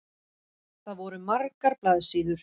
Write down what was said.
Það voru margar blaðsíður.